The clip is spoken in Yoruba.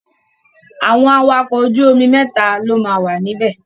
Àwọn awakọ̀ ojú omi mẹ́ta ló máa wà níbẹ̀.